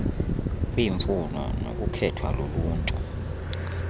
kwiimfuno nokukhethwa luluntu